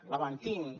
la mantinc